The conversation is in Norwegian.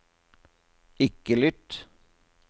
ikke lytt